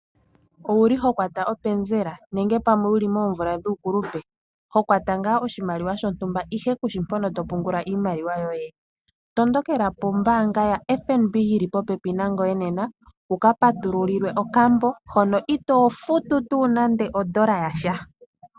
Owuli ho kwata openzela nenge pamwe wuli moomvula dhuukulupe, hokwata ngaa oshimaliwa shontumba ihe kushimpono topungula iimaliwa yoye? Tondokela pombanga yaFNB yili popepi nangoye nena wuka patululilwe okambo hono ito futu tuu nande odollar yasha.